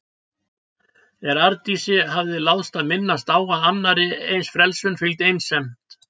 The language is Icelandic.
En Arndísi hafði láðst að minnast á að annarri eins frelsun fylgdi einsemd.